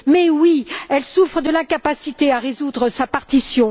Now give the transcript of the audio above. Mais, en effet, elle souffre de l'incapacité à résoudre sa partition.